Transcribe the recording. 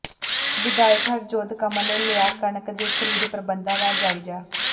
ਵਿਧਾਇਕ ਹਰਜੋਤ ਕਮਲ ਨੇ ਲਿਆ ਕਣਕ ਦੇ ਖਰੀਦ ਪ੍ਰਬੰਧਾਂ ਦਾ ਜਾਇਜ਼ਾ